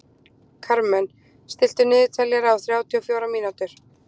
Karmen, stilltu niðurteljara á þrjátíu og fjórar mínútur.